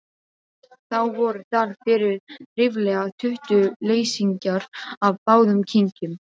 Þá voru þar fyrir ríflega tuttugu leysingjar af báðum kynjum.